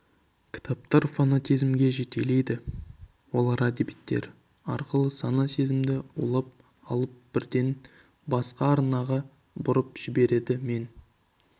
кітаптар фанатизмге жетелейді олар әдебиеттер арқылы сана сезімді улап алып бірден басқа арнаға бұрып жібереді мен